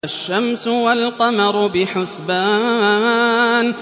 الشَّمْسُ وَالْقَمَرُ بِحُسْبَانٍ